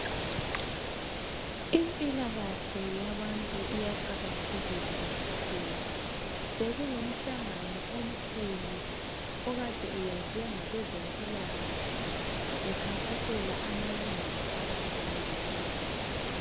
Impilakahle yabantu iyaqakathekiswa kakhulu. Bekulo mhlangano omkhulu okade uyenzwe ngabezempilakahle bekhankasela amalungelo abantu ngezempilakahle.